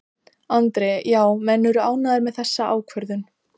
Andri: Já, menn eru ánægðir með þessa ákvörðun?